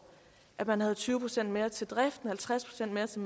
at man havde tyve procent mere til driften halvtreds procent mere til